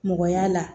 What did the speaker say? Mɔgɔ y'a la